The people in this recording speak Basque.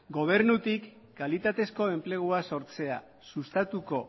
gobernutik kalitateko enplegua sortzeak sustatuko